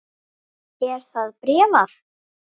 Er það bréfað?